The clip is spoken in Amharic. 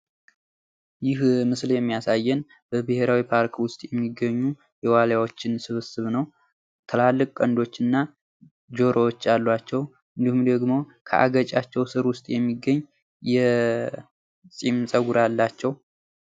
ይህ ምስል የሚያሳየን በብሔራዊ ፓርክ ዉስት የሚገኙ የዋሊያዎችን ስብስብ ነው ትላልቅ ቀንዶች እና ጆሮዎች አሉዋቸዉ ፤ እንዲሁም ደሞ ከአገጫቸው ስር ዉስጥ የሚገኝ የጺም ጸጉር አላቸዉ።